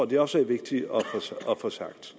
det også er vigtigt at få sagt